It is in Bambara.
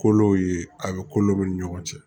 Kolo ye a bɛ kolow ni ɲɔgɔn cɛ